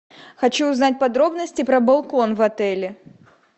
хочу узнать подробности про балкон в отеле